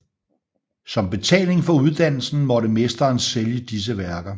Som betaling for uddannelsen måtte mesteren sælge disse værker